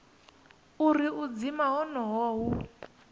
uri u dzima honoho hu